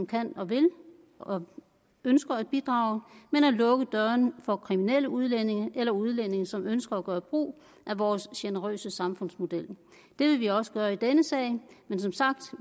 kan og vil og ønsker at bidrage men at lukke dørene for kriminelle udlændinge eller udlændinge som ønsker at gøre brug af vores generøse samfundsmodel det vil vi også gøre i denne sag men som sagt